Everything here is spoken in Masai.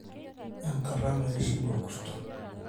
Enkata naishiu orkurr`to